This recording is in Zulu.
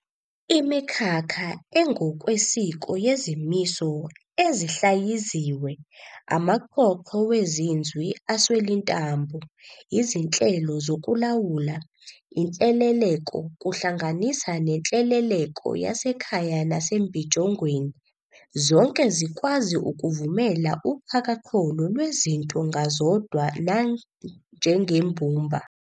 Imikhakha engokwesiko yezimiso ezihlayiziwe, amaxhoxho wezinzwi aswelintambo, izinhlelo zokulawula, inhleleleko, kuhlanganisa nenhleleleko yasekhaya nasembijongweni, zonke zikwazi ukuvumela uxhakaxholo lwezinto ngazodwa nanjengembumba.